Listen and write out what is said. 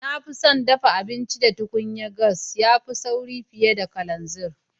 Na fi son daffa abinci da tukunyan gas, ya fi sauri fiyar da kalanzir.